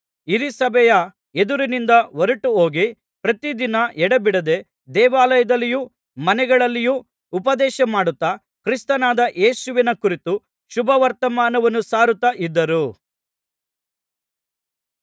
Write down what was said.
ಹಿರೀಸಭೆಯ ಎದುರಿನಿಂದ ಹೊರಟುಹೋಗಿ ಪ್ರತಿದಿನ ಎಡೆಬಿಡದೆ ದೇವಾಲಯದಲ್ಲಿಯೂ ಮನೆಮನೆಗಳಲ್ಲಿಯೂ ಉಪದೇಶಮಾಡುತ್ತಾ ಕ್ರಿಸ್ತನಾದ ಯೇಸುವಿನ ಕುರಿತು ಶುಭವರ್ತಮಾನವನ್ನು ಸಾರುತ್ತಾ ಇದ್ದರು